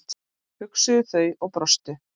hugsuðu þau og brostu.